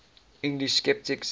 english sceptics